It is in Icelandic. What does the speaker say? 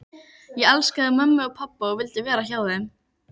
Ég elskaði mömmu og pabba og vildi vera hjá þeim.